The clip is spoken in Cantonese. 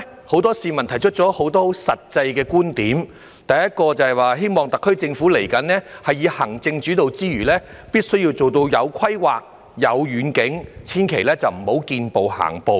很多市民發自內心提出了許多實際觀點，第一個是希望特區政府未來除以行政主導之外，也必須做到有規劃、有遠景，千萬不要"見步行步"。